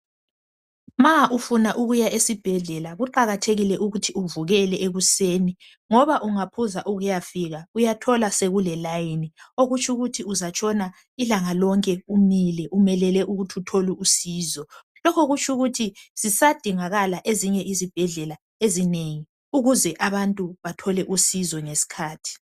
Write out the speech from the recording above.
Ma ufuna ukuya esibhedlela kuqakathekile ukuthi uvukele ekuseni ngoba ungaphuza ukuyafika uyathola sokulelayini okutsho ukuthi uzatshona ilanga lonke umile umelele ukuthi uthole usizo lokhu kutsho ukuthi zisadingakala ezinye izibhedlela ezinengi ukuze abantu bathole usizo ngesikhathi.